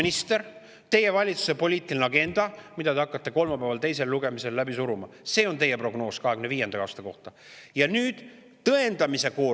See on teie valitsuse poliitiline agenda, mida te hakkate kolmapäeval teisel lugemisel läbi suruma, ning teie valitsuse, teie valitsuse rahandusministri prognoos 2025. aasta kohta.